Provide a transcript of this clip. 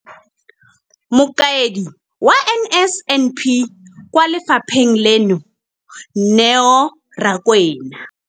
Mokaedi wa NSNP kwa lefapheng leno, Neo Rakwena,